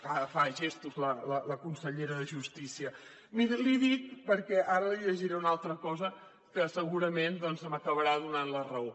que fa gestos la consellera de justícia miri l’hi dic perquè ara li llegiré una altra cosa que segurament doncs m’acabarà donant la raó